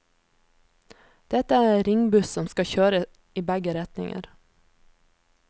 Dette er en ringbuss som skal kjøre i begge retninger.